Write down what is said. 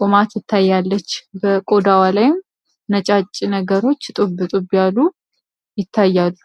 ቁማት ትታያለች። በቆዳዋ ላይም ነጫጭ ነገሮች ጥብጡ ብያሉ ይታያሉ።